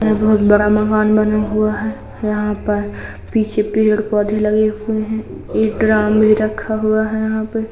यह बहुत बड़ा महान बना हुआ है। यहाँ पर पीछे पेड़-पोधे लगे हुए हैं। एक ड्राम भी रखा हुआ है यहाँ पे।